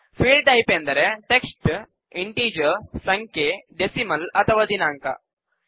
field type ಎಂದರೆ text integer ಸಂಖ್ಯೆ decimal ಅಥವಾ ದಿನಾಂಕ